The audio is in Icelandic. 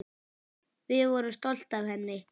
Við vorum stolt af henni.